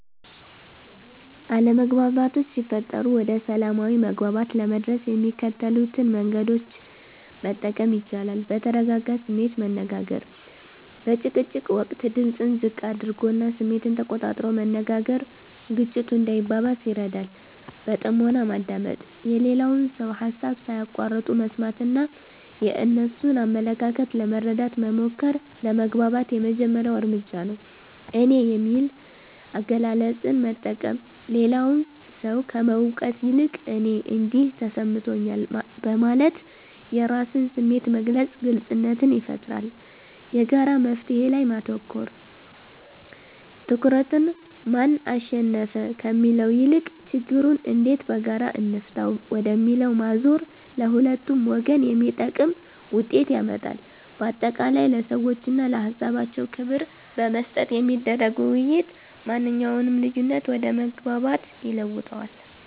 አለመግባባቶች ሲፈጠሩ ወደ ሰላማዊ መግባባት ለመድረስ የሚከተሉትን መንገዶች መጠቀም ይቻላል፦ በተረጋጋ ስሜት መነጋገር፦ በጭቅጭቅ ወቅት ድምጽን ዝቅ አድርጎና ስሜትን ተቆጣጥሮ መነጋገር ግጭቱ እንዳይባባስ ይረዳል። በጥሞና ማዳመጥ፦ የሌላውን ሰው ሃሳብ ሳይቋርጡ መስማትና የእነሱን አመለካከት ለመረዳት መሞከር ለመግባባት የመጀመሪያው እርምጃ ነው። "እኔ" የሚል አገላለጽን መጠቀም፦ ሌላውን ሰው ከመውቀስ ይልቅ "እኔ እንዲህ ተሰምቶኛል" በማለት የራስን ስሜት መግለጽ ግልጽነትን ይፈጥራል። የጋራ መፍትሔ ላይ ማተኮር፦ ትኩረትን "ማን አሸነፈ?" ከሚለው ይልቅ "ችግሩን እንዴት በጋራ እንፍታው?" ወደሚለው ማዞር ለሁለቱም ወገን የሚጠቅም ውጤት ያመጣል። ባጠቃላይ፣ ለሰዎችና ለሃሳባቸው ክብር በመስጠት የሚደረግ ውይይት ማንኛውንም ልዩነት ወደ መግባባት ይለውጠዋል።